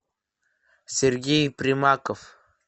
сергей примаков